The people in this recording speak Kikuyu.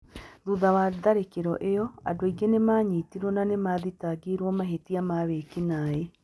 Thutha wa tharĩkĩro ĩyo, andũ aingĩ nĩ maanyitirũo na nĩ maathitangĩirũo mahĩtia ma wĩki-naĩ.